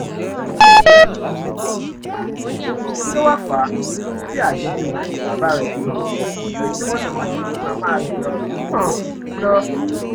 kí ló wáá fà á tí àjọṣe òun àti bàbá rẹ um fi ṣe tímọ́tímọ́ ju ti màmá rẹ um lọ